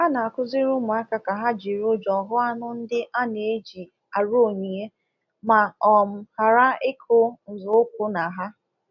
A na-akuziri ụmụaka ka ha jiri ụjọ hụ anụ ndị a na-eji arụ onyinye ma um ghara ịkụ nzọụkwụ na ha.